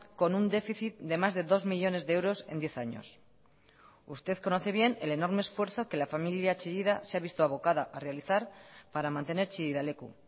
con un déficit de más de dos millónes de euros en diez años usted conoce bien el enorme esfuerzo que la familia chillida se ha visto abocada a realizar para mantener chillida leku